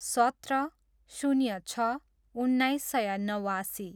सत्र, शून्य छ, उन्नाइस सय नवासी